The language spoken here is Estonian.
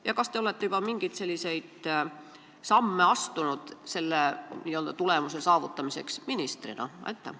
Ja kas te olete ministrina juba mingeid samme astunud, et seda tulemust saavutada?